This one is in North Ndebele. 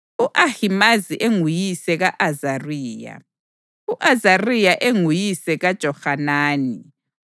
u-Ahimazi enguyise ka-Azariya, u-Azariya enguyise kaJohanani,